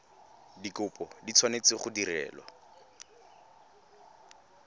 dikopo di tshwanetse go direlwa